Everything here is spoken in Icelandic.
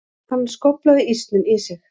Hann skóflaði ísnum í sig.